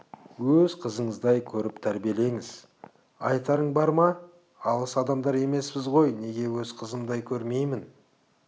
өз қызыңыздай көріп тәрбиелеңіз айтарың бар ма алыс адамдар емеспіз ғой неге өз қызымдай көрмейін